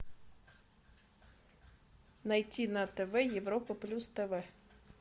найти на тв европа плюс тв